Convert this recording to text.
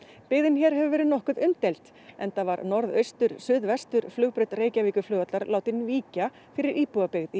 byggðin hér hefur verið nokkuð umdeild enda var norðaustur suðvestur flugbraut Reykjavíkurflugvallar látin víkja fyrir íbúabyggð í